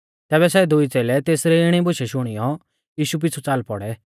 तैबै सै दुई च़ेलै तेसरी इणी बुशै शुणियौ यीशु पिछु च़ाल पौड़ै